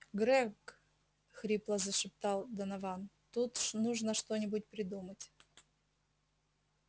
грег хрипло зашептал донован тут нужно что-нибудь придумать